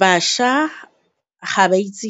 Bašwa ga ba itse